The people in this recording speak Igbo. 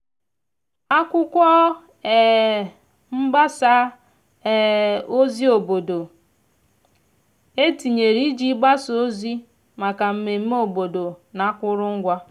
ndi otu ntorobia zukotara itu atụmatụ maka mmeme na agba ndi um n'afo iri na uma ume n'ime ọrụ obodo.